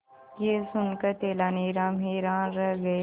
यह सुनकर तेनालीराम हैरान रह गए